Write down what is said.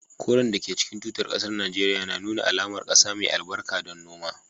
Koren da ke cikin tutar kasar Najeriya na nuna alamar kasa mai albarka don noma